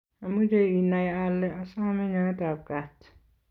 ameche inai ale asome nyoetab kaat